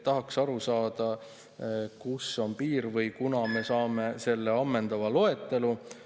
Tahaks aru saada, kus on piir või millal me saame selle ammendava loetelu.